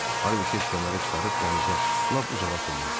Harvi tez kəməri çıxarıb dənizə, lap uzağa tulladı.